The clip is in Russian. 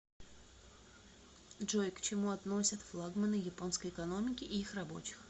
джой к чему относят флагманы японской экономики и их рабочих